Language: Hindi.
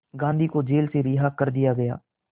गांधी को जेल से रिहा कर दिया गया